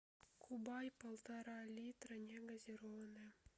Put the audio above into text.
кубай полтора литра негазированная